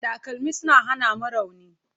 Takalmi suna hana mu rauni.